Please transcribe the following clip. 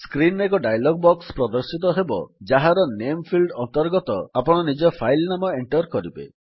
screen ରେ ଏକ dialog box ପ୍ରଦର୍ଶିତ ହେବ ଯାହାର ନାମେ ଫିଲ୍ଡ ଅନ୍ତର୍ଗତ ଆପଣ ନିଜ ଫାଇଲ୍ ନାମ ଏଣ୍ଟର୍ କରିବେ